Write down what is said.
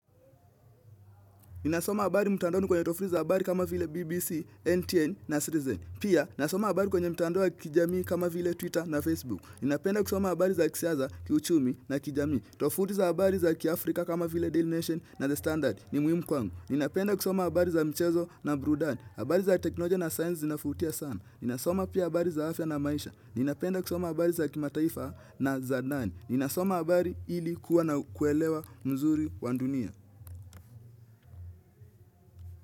Ninasoma habari mtandaoni kwenye tofuti za habari kama vile BBC, NTN na Citizen. Pia, nasoma habari kwenye mtandao wa kijamii kama vile Twitter na Facebook. Ninapenda kusoma habari za kisiasa, kiuchumi na kijamii. Tofuti za habari za kiafrika kama vile Daily Nation na The Standard ni muhimu kwangu. Ninapenda kusoma habari za mchezo na burudani. Habari za teknolojia na sayansi zinavutia sana. Ninasoma pia habari za afya na maisha. Ninapenda kusoma habari za kimataifa na za ndani. Ninasoma habari ili kuwa na kuelewa mzuri wa dunia.